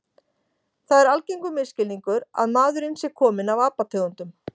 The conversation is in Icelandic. Það er algengur misskilningur að maðurinn sé kominn af apategundum.